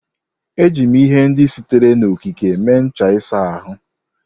Eji m ihe ndị sitere n'okike mee ncha ịsa ahụ.